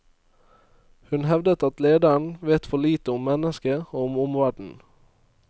Hun hevdet at lederen vet for lite om mennesket og om omverdenen.